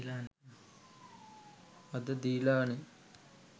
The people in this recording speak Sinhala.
අද දීලා නේ